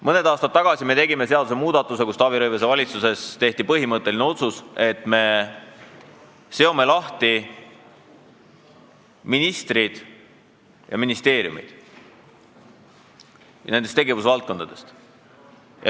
Mõni aasta tagasi me tegime seadusmuudatuse, Taavi Rõivase valitsuses tehti põhimõtteline otsus, et me seome ministrid ja ministeeriumid tegevusvaldkondadest lahti.